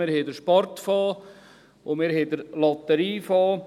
Wir haben den Sportfonds und wir haben den Lotteriefonds.